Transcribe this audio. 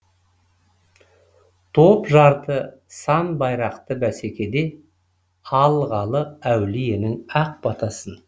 топ жарды сан байрақты бәсекеде алғалы әулиенің ақ батасын